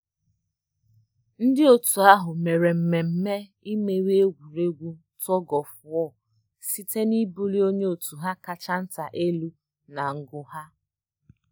Ndị otu ahụ mere mmemme imeri egwuregwu tug-of-war site na ibuli onye otu ha kacha nta elu na ngu ha